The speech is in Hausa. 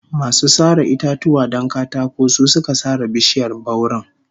Masu sare itatuwa don katako su suka sare bishiyar bauren